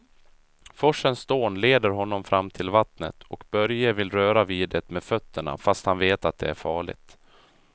Forsens dån leder honom fram till vattnet och Börje vill röra vid det med fötterna, fast han vet att det är farligt.